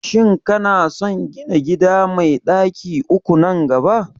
Shin kana son gina gida mai ɗaki uku nan gaba?